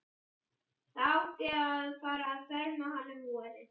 Það átti að fara að ferma hana um vorið.